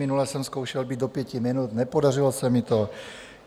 Minule jsem zkoušel být do pěti minut, nepodařilo se mi to.